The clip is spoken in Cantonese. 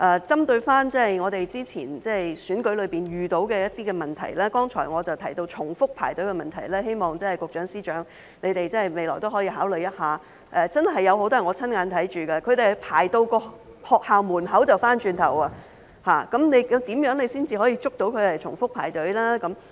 針對過去選舉中遇到的問題，我剛才提到重複排隊的問題，希望局長、司長未來可以考慮一下，有很多是我親眼見到的，他們排到學校門口便回頭再排隊，那麼如何才能防止他重複排隊呢？